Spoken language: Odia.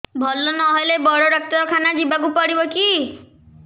ଭଲ ନହେଲେ ବଡ ଡାକ୍ତର ଖାନା ଯିବା କୁ ପଡିବକି